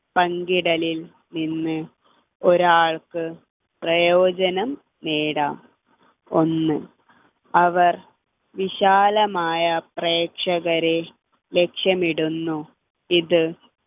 പങ്കിടലിൽ നിന്ന് ഒരാൾക്ക് പ്രയോജനം നേടാം ഒന്ന് അവർ വിശാലമായ പ്രേക്ഷകരെ ലക്ഷ്യമിടുന്നു ഇത്